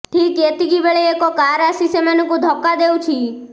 ଠିକ ଏତିକିବେଳେ ଏକ କାର ଆସି ସେମାନଙ୍କୁ ଧକ୍କା ଦେଉଛି